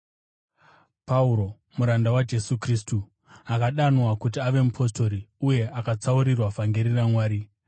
Pauro, muranda waJesu Kristu, akadanwa kuti ave mupostori uye akatsaurirwa vhangeri raMwari,